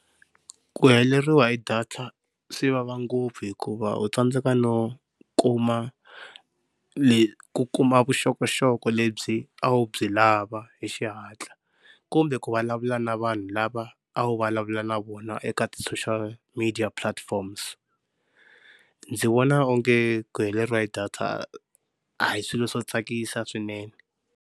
Ku heleriwa hi data swi vava ngopfu hikuva u tsandzeka no kuma ku kuma vuxokoxoko lebyi a wu byi lava hi xihatla kumbe ku vulavula na vanhu lava a wu vulavula na vona eka ti-social media platform se ndzi vona onge ku heleriwe data a hi swilo swo tsakisa swinene.